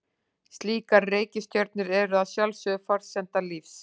Slíkar reikistjörnur eru að sjálfsögðu forsenda lífs.